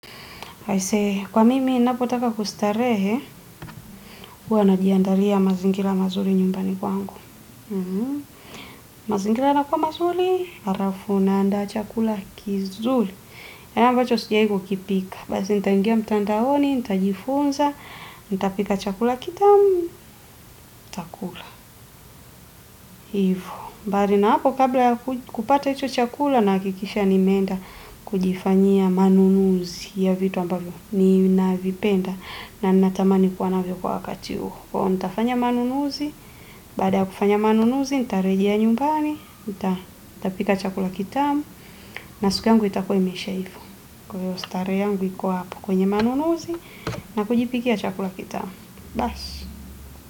Kwa mimi ninapotaka kustarehe, huwa najiandalia mazingira mazuri nyumbani kwangu. Mazingira yanakuwa mazuri, alafu naandaa chakula kizuri. Yaani ambacho sijai kukipika. Basi, nitaingia mtandaoni, nitajifunza, nitapika chakula kitamu, ntakula. Hivo. Mbali na hapo, kabla ya kupata hicho chakula, nahakikisha nimeenda kujifanyia manunuzi ya vitu ambavyo. Ninavipenda na natamani kuwa navyo wakati huo kwaivo nitafanya manunuzi, baada ya kufanya manunuzi nitarejea nyumbani nitapika chakula kitamu na siku yangu itakuwa imeisha ivo. Kwaivo starehe yangu iko apo kwenye manunuzi na kujipikia chakula kitamu. Baas.